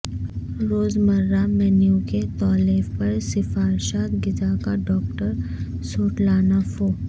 روزمرہ مینو کے تالیف پر سفارشات غذا کا ڈاکٹر سوٹلانہ فو